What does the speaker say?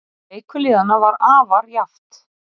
Leikur liðanna var afar jafnt